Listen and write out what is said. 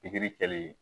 Pikiri kɛli